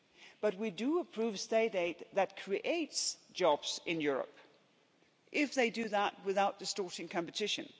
But we do approve state aid that creates jobs in Europe, if they do that without distorting competition.